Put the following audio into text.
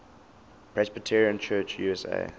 presbyterian church usa